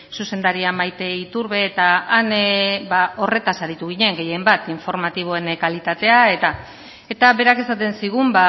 zuzendaria maite iturbe eta han horretaz aritu ginen gehien bat informatiboen kalitatea eta eta berak esaten zigun